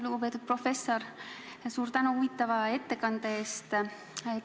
Lugupeetud professor, suur tänu huvitava ettekande eest!